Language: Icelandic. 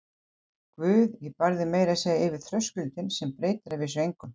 Guð, ég bar þig meira segja yfir þröskuldinn, sem breytir að vísu engu.